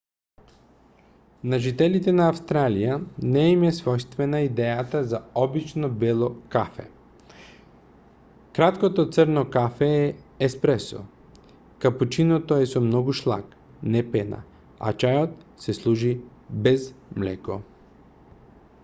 на жителите на австралија не им е својствена идејата за обично бело кафе. краткото црно кафе е еспресо капучиното е со многу шлаг не пена а чајот се служи без млеко